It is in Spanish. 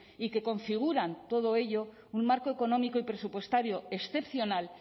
y que configuran todo ello un marco económico y presupuestario excepcional